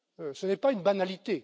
retrait. Ce n'est pas une